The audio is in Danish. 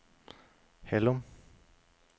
Hallum